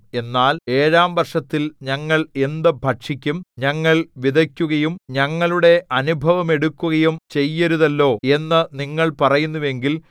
എന്നാൽ ഏഴാം വർഷത്തിൽ ഞങ്ങൾ എന്ത് ഭക്ഷിക്കും ഞങ്ങൾ വിതയ്ക്കുകയും ഞങ്ങളുടെ അനുഭവമെടുക്കുകയും ചെയ്യരുതല്ലോ എന്നു നിങ്ങൾ പറയുന്നുവെങ്കിൽ